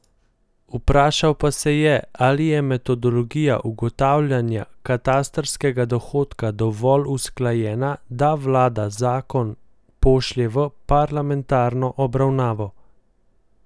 Vprašal pa se je, ali je metodologija ugotavljanja katastrskega dohodka dovolj usklajena, da vlada zakon pošlje v parlamentarno obravnavo.